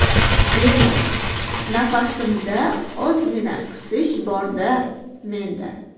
Bemor: Nafasimda ozgina qisish bor-da menda.